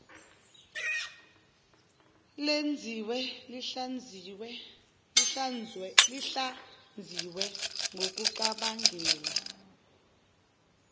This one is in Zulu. lenziwe lihlaziywe ngokucabangela